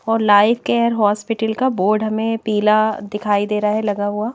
और life care hospital का board हमें पीला दिखाई दे रहा है लगा हुआ--